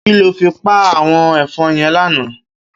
Kiló fi pá áwòn èfòn yèn làná